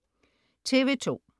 TV2: